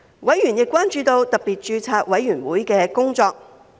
委員亦關注到特別註冊委員會的工作。